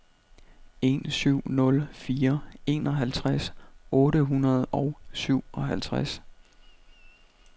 en syv nul fire enoghalvtreds otte hundrede og syvoghalvtreds